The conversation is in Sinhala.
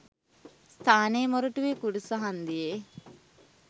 ස්ථානය මොරටුවේ කුරුස හංදියේ